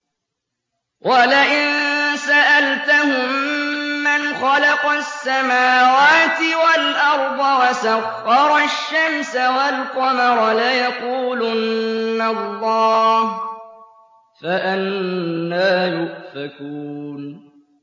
وَلَئِن سَأَلْتَهُم مَّنْ خَلَقَ السَّمَاوَاتِ وَالْأَرْضَ وَسَخَّرَ الشَّمْسَ وَالْقَمَرَ لَيَقُولُنَّ اللَّهُ ۖ فَأَنَّىٰ يُؤْفَكُونَ